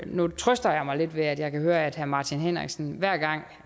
nu trøster jeg mig lidt ved at jeg kan høre at herre martin henriksen hver gang